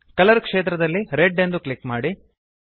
colour ಕ್ಷೇತ್ರದಲ್ಲಿ red ಎಂದು click ಮಾಡಿ